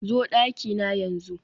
zo dakina yanzu